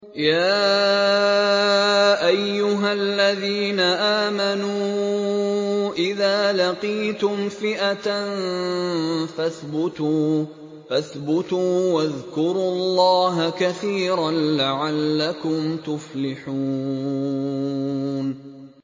يَا أَيُّهَا الَّذِينَ آمَنُوا إِذَا لَقِيتُمْ فِئَةً فَاثْبُتُوا وَاذْكُرُوا اللَّهَ كَثِيرًا لَّعَلَّكُمْ تُفْلِحُونَ